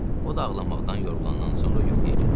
O da ağlamaqdan yorulandan sonra yuxuya gedib.